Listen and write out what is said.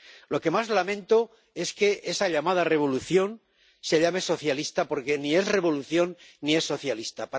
Lo que más lamento es que esa llamada revolución se llame socialista, porque ni es revolución, ni es socialista.